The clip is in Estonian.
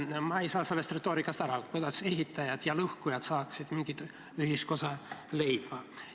Ma ei saa sellest retoorikast aru: kuidas ehitajad ja lõhkujad saaksid mingit ühisosa leida?